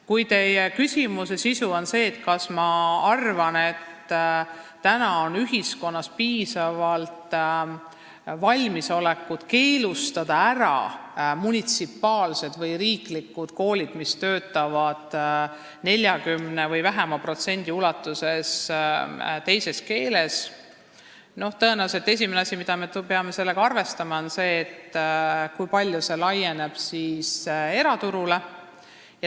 Kui teie küsimuse sisu on aga see, kas minu arvates on ühiskonnas täna piisavalt valmisolekut keelustada munitsipaalsed või riiklikud koolid, mis töötavad 40% või väiksema protsendi ulatuses mõnes teises keeles, siis vastan, et tõenäoliselt esimene asi, millega me peame arvestama, on see, kui palju see kõik laieneb eraturule.